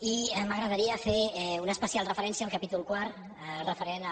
i m’agradaria fer una especial referència al capítol quart referent a